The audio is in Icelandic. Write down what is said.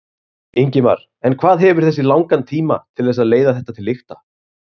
Ingimar: En hvað hefur þú langan tíma til þess að leiða þetta til lykta?